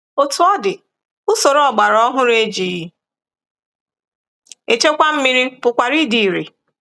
Otú ọ dị, usoro ọgbara ọhụrụ e ji echekwa mmiri pụkwara ịdị ire.